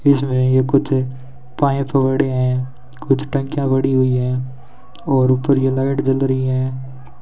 इसमें ये कुछ पाइप बड़े है कुछ टंकियां बड़ी हुई है और ऊपर ये लाइट जल रही हैं।